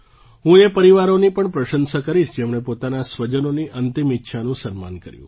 હું એ પરિવારોની પણ પ્રશંસા કરીશ જેમણે પોતાના સ્વજનોની અંતિમ ઇચ્છાનું સન્માન કર્યું